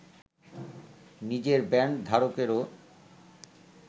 নিজের ব্যান্ড ধারকেরও